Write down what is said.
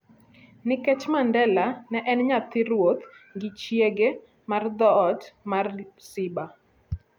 Nikech Mandela ne en nyathi ruoth gi chiege mar dhoot mar Ixhiba,